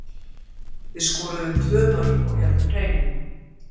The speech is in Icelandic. Við skoruðum tvö mörk og héldum hreinu.